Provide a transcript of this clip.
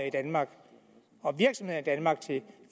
i danmark til